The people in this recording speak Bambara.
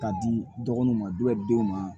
K'a di dɔgɔnuw ma denw ma